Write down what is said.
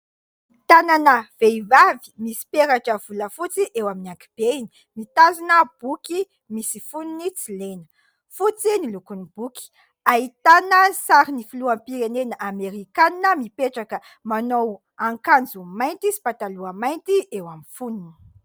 Tanana vehivavy misy peratra volafotsy eo amin'ny ankihibeny, mitazona boky misy fonony tsy lena ; fotsy ny lokon'ny boky, ahitana sarin'ny filoham-pirenena Amerikanina mipetraka, manao akanjo mainty sy pataloha mainty eo amin'ny fonony.